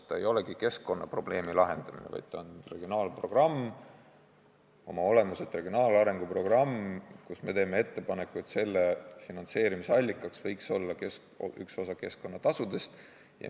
See ei olegi keskkonnaprobleemi lahendamine, vaid see on oma olemuselt regionaalarenguprogramm ja me teeme ettepaneku, et selle finantseerimise allikaks võiks olla üks osa keskkonnatasudest.